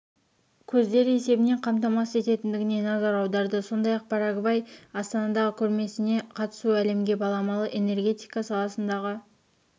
көздері есебінен қамтамасыз ететіндігіне назар аударды сондай-ақ парагвайды астанадағы көрмесіне қатысуы әлемге баламалы энергетика саласындағы